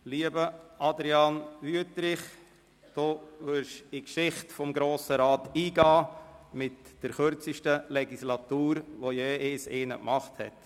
Lieber Adrian Wüthrich, Sie werden in die Geschichte des Grossen Rats eingehen als derjenige mit der kürzesten Legislatur, zu der jemals jemand angetreten ist.